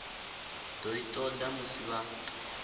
do i toda musi vha